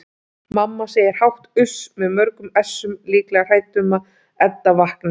Mamma segir hátt uss með mörgum essum, líklega hrædd um að Edda vakni.